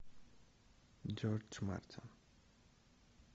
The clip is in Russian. джордж мартин